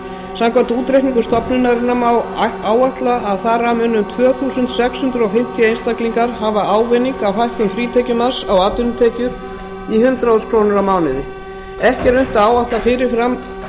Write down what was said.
samkvæmt útreikningum stofnunarinnar má áætla að þar af muni um tvö þúsund sex hundruð fimmtíu einstaklingar hafa ávinning af hækkun frítekjumarks á atvinnutekjur í hundrað þúsund krónur á mánuði ekki er unnt að áætla fyrirfram